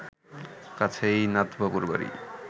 কাছেই নাথবাবুর বাড়ি